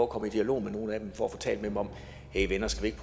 komme i dialog med nogle af dem for at få talt med dem om hey venner skal vi ikke